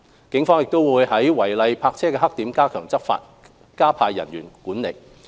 警方亦會在違例泊車的黑點加強執法，加派人員執行管制。